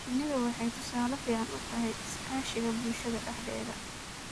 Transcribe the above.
Shinnidu waxay tusaale fiican u tahay iskaashiga bulshada dhexdeeda.